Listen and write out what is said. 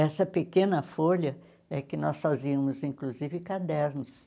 Essa pequena folha é que nós fazíamos, inclusive, cadernos.